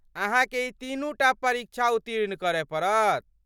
अहाँ के ई तीूनू टा परीक्षा उत्तीर्ण करय पड़त ?